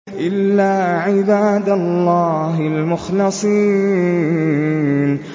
إِلَّا عِبَادَ اللَّهِ الْمُخْلَصِينَ